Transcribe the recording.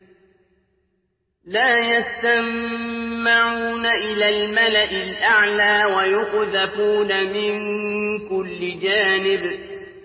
لَّا يَسَّمَّعُونَ إِلَى الْمَلَإِ الْأَعْلَىٰ وَيُقْذَفُونَ مِن كُلِّ جَانِبٍ